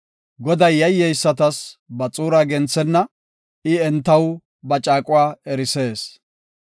Goday yayyeysatas ba xuuraa genthenna; I entaw ba caaquwa erisees.